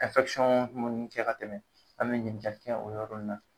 ɛnfɛkisɔn munnu kɛ ka gɛlɛn an be ɲininkali kɛ o yɔrɔ na